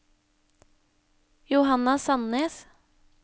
Johanna Sandnes